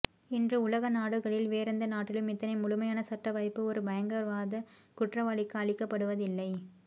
இன்று உலகநாடுகளில் வேறெந்த நாட்டிலும் இத்தனை முழுமையான சட்ட வாய்ப்பு ஒரு பயங்கரவாதக் குற்றவாளிக்கு அளிக்கப்படுவதில்லை